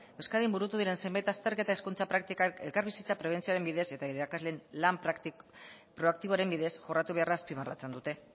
euskadin burutu diren zenbait azterketa hezkuntza praktikak elkarbizitza prebentzioaren bidez eta irakasleen lan proaktiboaren bidez jorratu beharra azpimarratzen dute